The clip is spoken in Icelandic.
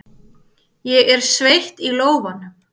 Ég er sveitt í lófanum.